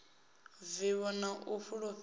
vivho na u sa fulufhela